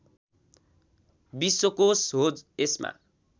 विश्वकोष हो यसमा